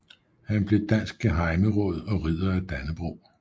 Han blev dansk gehejmeråd og Ridder af Dannebrog